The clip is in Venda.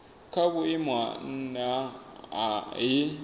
kwa vhuimo ha nha he